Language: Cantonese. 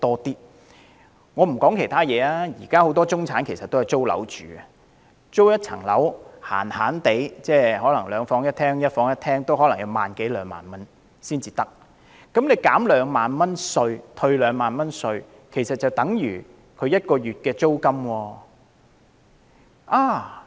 不說其他，以現時很多中產人士均租住私人物業來說，一個兩房一廳或一房一廳物業的租金基本上已達萬多兩萬元 ，2 萬元退稅額其實已相等於1個月租金。